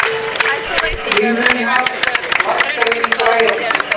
Vilmenhart, lækkaðu í græjunum.